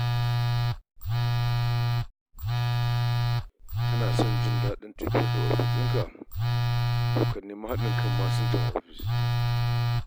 Kana son jin daɗin tafiyar da ofishinka, to ka nemi haɗin kan masinjan ofis.